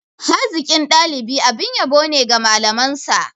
Hazikin dalibi abin yabo ne ga malamansa.